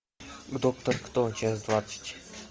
доктор кто часть двадцать